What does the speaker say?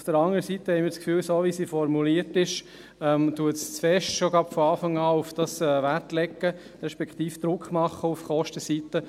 Auf der anderen Seite haben wir das Gefühl, so wie sie formuliert ist, lege diese Planungserklärung von Anfang an zu stark Wert darauf, beziehungsweise mache zu stark Druck auf der Kostenseite.